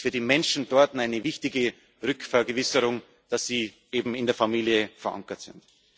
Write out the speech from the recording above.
Es ist für die Menschen dort eine wichtige Vergewisserung, dass sie eben in der Familie verankert